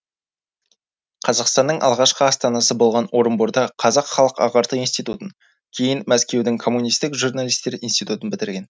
қазақстанның алғашқы астанасы болған орынборда қазақ халық ағарту институтын кейін мәскеудің коммунистік журналистер институтын бітірген